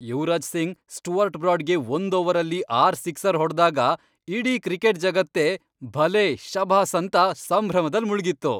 Yuvraj Singh Stuart ಬ್ರಾಡ್ಗೆ ಒಂದ್ ಓವರಲ್ಲಿ ಆರ್ ಸಿಕ್ಸರ್ ಹೊಡ್ದಾಗ ಇಡೀ ಕ್ರಿಕೆಟ್ ಜಗತ್ತೇ ಭಲೇ, ಶಭಾಸ್ ಅಂತ ಸಂಭ್ರಮದಲ್ಲ್ ಮುಳ್ಗಿತ್ತು.